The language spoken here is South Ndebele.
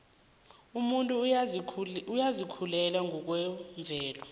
umuntu uyazikhulela ngokwemvelo